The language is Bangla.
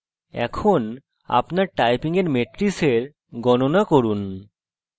এখন আপনার typing এর মেট্রিসের গণনা করুন